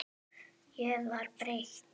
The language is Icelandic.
Ég var breytt.